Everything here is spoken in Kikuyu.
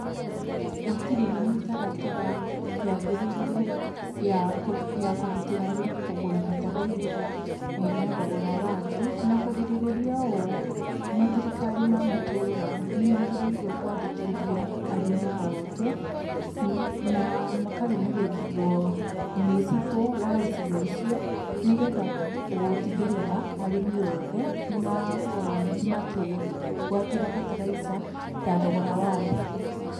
Gũtirĩ na mĩtaratara yagĩrĩire ya kũgitĩra arĩmi kugũra bataraitha ĩna thogora wa thĩ. Na kũgirĩrĩria ũũ mathirikari ma mamatũũra nĩmagĩríĩrwo kũandĩkithia arĩmi othe na makarũmĩrĩrwo nĩ cibũ wa icigo icio nĩgetha gũtigĩrĩra arĩmi othe nĩ makorwo makĩgwatĩra bataraitha ya thogora wa thĩ.